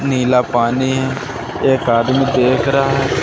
नीला पानी है एक आदमी देख रहा--